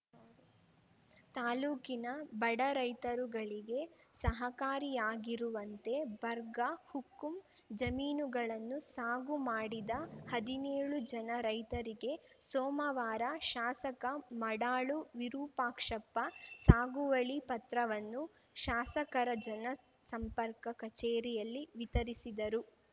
ತಾಲೂಕಿನ ಬಡ ರೈತರುಗಳಿಗೆ ಸಹಕಾರಿಯಾಗಿರುವಂತೆ ಬರ್ಗಾ ಹುಕ್ಕುಂ ಜಮೀನುಗಳನ್ನು ಸಾಗು ಮಾಡಿದ ಹದಿನೇಳು ಜನ ರೈತರಿಗೆ ಸೋಮವಾರ ಶಾಸಕ ಮಡಾಳು ವಿರೂಪಾಕ್ಷಪ್ಪ ಸಾಗುವಳಿ ಪತ್ರವನ್ನು ಶಾಸಕರ ಜನ ಸಂಪರ್ಕ ಕಛೇರಿಯಲ್ಲಿ ವಿತರಿಸಿದರು